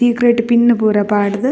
Secret pin ಪೂರ ಪಾಡ್ದ್.